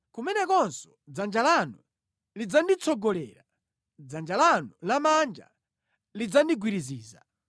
kumenekonso dzanja lanu lidzanditsogolera, dzanja lanu lamanja lidzandigwiriziza.